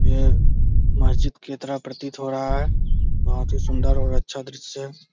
ये मस्जिद के तरह प्रतीत हो रहा है बहुत ही सुंदर और अच्छा दृश्य है।